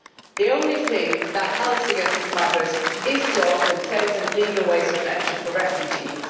The only thing that helps against smugglers is to open safe and legal ways of entry for refugees.